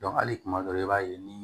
hali kuma dɔ la i b'a ye ni